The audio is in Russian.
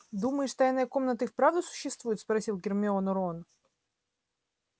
думаешь тайная комната и вправду существует спросил гермиону рон